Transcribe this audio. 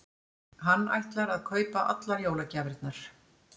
Hann ætlar að kaupa allar jólagjafirnar.